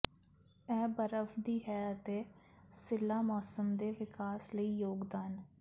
ਇਹ ਬਰਫ ਦੀ ਹੈ ਅਤੇ ਸਿੱਲ੍ਹਾ ਮੌਸਮ ਦੇ ਵਿਕਾਸ ਲਈ ਯੋਗਦਾਨ